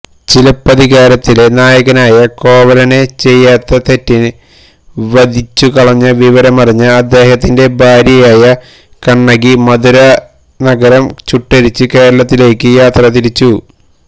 ചിലപ്പതികാരത്തിലെ നായകനായ കോവലനെ ചെയ്യാത്ത തെറ്റിന് വധിച്ചുകളഞ്ഞ വിവരമറിഞ്ഞ അദ്ദേഹത്തിന്റെ ഭാര്യയായ കണ്ണകി മധുരാനഗരം ചുട്ടെരിച്ച് കേരളത്തിലേയ്ക്ക് യാത്രതിരിച്ചു